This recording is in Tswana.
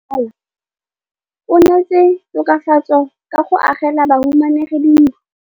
Mmasepala o neetse tokafatsô ka go agela bahumanegi dintlo.